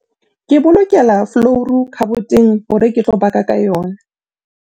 ke bolokela folouru khaboteng hore ke tlo baka ka yona